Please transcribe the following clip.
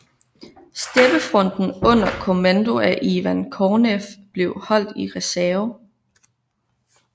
Steppefronten under kommando af Ivan Konev blev holdt i reserve